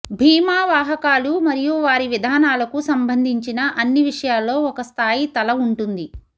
భీమా వాహకాలు మరియు వారి విధానాలకు సంబంధించిన అన్ని విషయాల్లో ఒక స్థాయి తల ఉంటుంది